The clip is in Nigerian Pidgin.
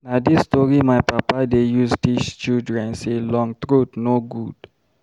Na dis tori my papa dey use teach children sey long throat no good.